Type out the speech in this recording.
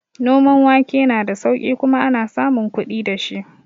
Noman wake na da sauƙi kuma ana samun kuɗi dashi